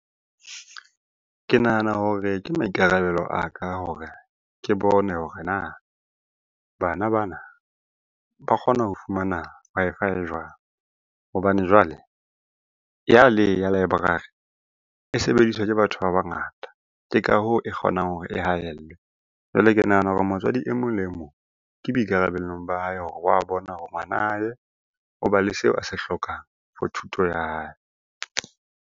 Ke nahana hore ke maikarabelo a ka hore ke bone hore na bana bana ba kgona ho fumana Wi-Fi jwang? Hobane jwale ya le ya library e sebediswa ke batho ba bangata, ke ka hoo e kgonang hore e hahellwe. Jwale ke nahana hore motswadi emong le emong ke boikarabellong ba hae hore wa bona hore ngwana hae o ba le seo a se hlokang for thuto ya hae.